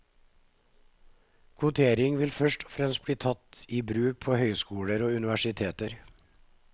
Kvotering vil først og fremst bli tatt i bruk på høyskoler og universiteter.